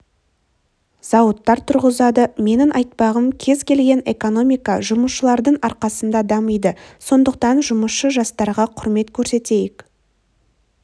зауыттар тұрғызады менің айтпағым кез келген экономика жұмысшылардың арқасында дамиды сондықтан жұмысшы жастарға құрмет көрсетейік